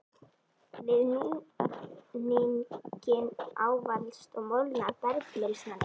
Við núninginn ávalast og molnar bergmylsnan einnig.